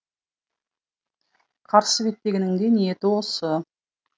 қарсы беттегінің де ниеті осы